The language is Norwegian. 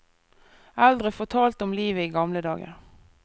Eldre fortalte om livet i gamle dager.